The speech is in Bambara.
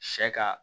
Sɛ ka